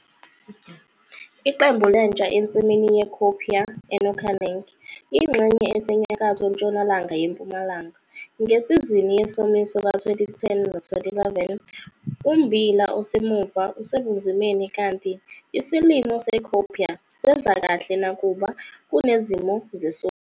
Isithombe 2- Iqembu lentsha ensimini ye-cowpea e-Nokaneng ingxenye esenyakatho-ntshonalanga yeMpumalanga, ngesizini yesomiso ka-2010 no 2011. Ummbila osemuva usebunzimeni kanti isilimo se-cowpea senza kahle nakuba kunezimo zesomiso.